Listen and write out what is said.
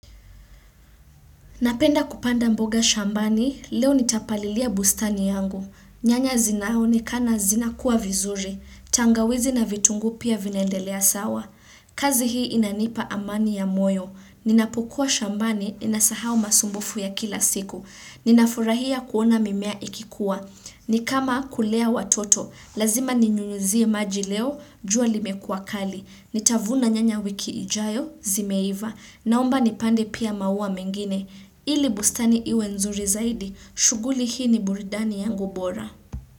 Napenda kupanda mboga shambani, leo nitapalilia bustani yangu. Nyanya zinaonekana zina kuwa vizuri. Tangawizi na vitunguu pia vinaendelea sawa. Kazi hii inanipa amani ya moyo. Ninapokua shambani ninasahau masumbufu ya kila siku. Ninafurahia kuona mimea ikikuwa. Ni kama kulea watoto, lazima ninyunyuzie maji leo, jua limekuwa kali. Nitavuna nyanya wiki ijayo zimeiva, naomba nipande pia maua mengine. Ili bustani iwe nzuri zaidi, shughuli hii ni burudani yangu bora.